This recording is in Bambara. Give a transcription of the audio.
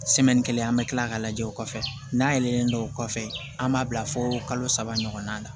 kelen an bɛ tila k'a lajɛ o kɔfɛ n'a yelen dɔw kɔfɛ an b'a bila fo kalo saba ɲɔgɔnna na